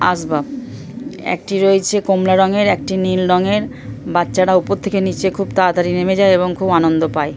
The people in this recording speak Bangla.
আসবাব একটি রয়েছে কমলা রঙের একটি রয়েছে নীল রংয়ের বাচ্চারা উপর থেকে নিচে খুব তাড়াতাড়ি নেমে যায় এবং খুব আনন্দ পায়।